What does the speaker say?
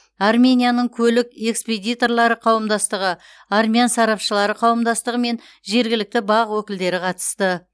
арменияның көлік экспедиторлары қауымдастығы армян сарапшылары қауымдастығы мен жергілікті бақ өкілдері қатысты